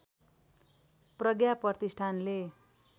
प्रज्ञा प्रतिष्ठानले